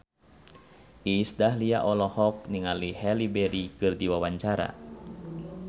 Iis Dahlia olohok ningali Halle Berry keur diwawancara